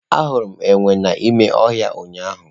Ahụrụ m enwe n'ime ọhịa ụnyahụ.